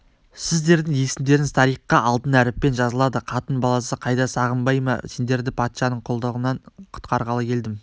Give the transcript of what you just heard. сіздердің есімдеріңіз тарихқа алтын әріппен жазылады қатын-баласы қайда сағынбай ма мен сендерді патшаның құлдығынан құтқарғалы келдім